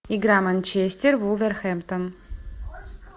игра манчестер вулверхэмптон